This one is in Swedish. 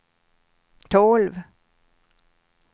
tolv